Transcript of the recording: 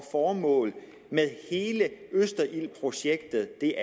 formål med hele østerildprojektet er